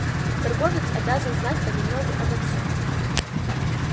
торговец обязан знать понемногу обо всем